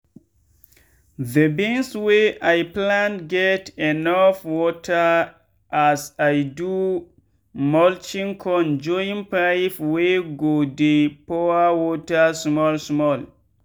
the beans wey i plant get enough wateras i do mulching con join pipe wey go dey pour water small small.